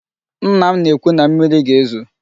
Nna m na-ekwu na mmịrị ga-ezo.